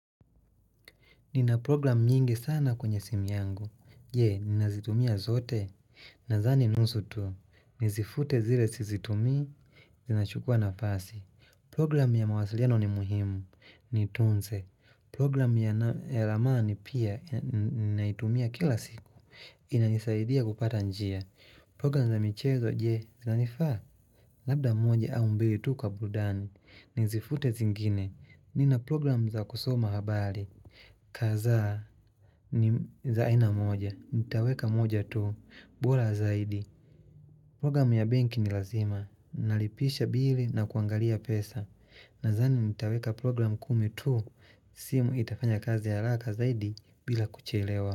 Nina program nyingi sana kwenye simu yangu. Je, ninazitumia zote? Nadhani nusu tu. Nizifute zile sizitumii? Zinachukua nafasi. Program ya mawasiliano ni muhimu, niitunze, program ya ramani pia, ninaitumia kila siku, inanisaidia kupata njia. Program za michezo, je, zinanifaa? Labda moja au mbili tu kwa burudani, nizifute zingine, nina program za kusoma habari. Kadhaa ni za aina moja. Nitaweka moja tu bora zaidi Program ya bnki ni lazima Nalipisha bili na kuangalia pesa Nadhani nitaweka program kumi tu simu itafanya kazi haraka zaidi bila kuchelewa.